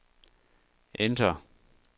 enter